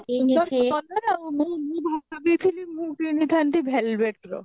ମୁଁ ଭାବିଥିଲି ମୁଁ କିଣିଥାନ୍ତି velvet ର